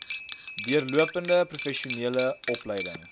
deurlopende professionele opleiding